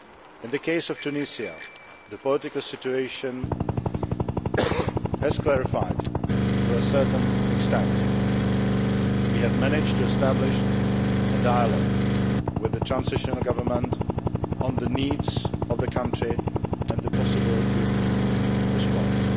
In the case of Tunisia, the political situation has become a little clearer. We have managed to establish a dialogue with the transitional government on the needs of the country and the possible European Union response.